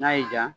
N'a y'i diya